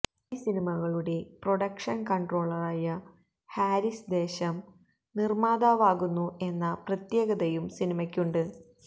നിരവധി സിനിമകളുടെ പ്രൊഡക്ഷന് കൺട്രോളറായ ഹാരിസ് ദേശം നിര്മാതാവാവുന്നു എന്ന പ്രത്യേകതയും സിനിമക്കുണ്ട്